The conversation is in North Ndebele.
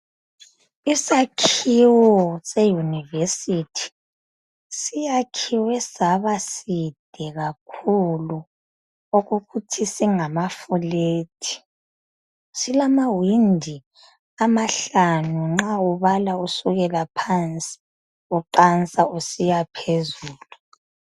Isakhiwo se university siyakhiwe saba side kakhulu okokuthi singama fulethi silamawindi amahlanu nxa ubala usukela phansi uqansa usiya phezulu.